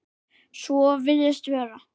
Svo virðist vera.